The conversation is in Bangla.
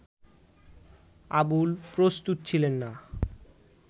আবুল প্রস্তুত ছিলেন না